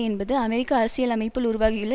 என்பது அமெரிக்க அரசியல் அமைப்பில் உருவாகியுள்ள